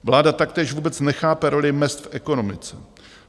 Vláda taktéž vůbec nechápe roli mezd v ekonomice.